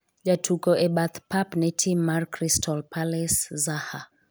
jatuko e bath pap ne tim mar crystal palace Zaha